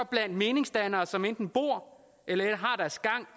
blandt meningsdannere som enten bor eller har deres gang